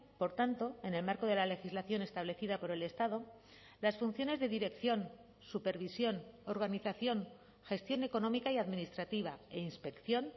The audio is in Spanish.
por tanto en el marco de la legislación establecida por el estado las funciones de dirección supervisión organización gestión económica y administrativa e inspección